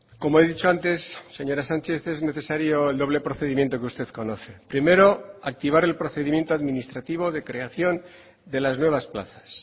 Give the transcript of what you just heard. como he dicho antes señora sánchez es necesario el doble procedimiento que usted conoce primero activar el procedimiento administrativo de creación de las nuevas plazas